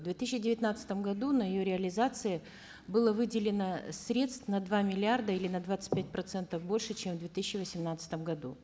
в две тысячи девятнадцатом году на ее реализацию было выделено средств на два миллиарда или на двадцать пять процентов больше чем в две тысячи восемнадцатом году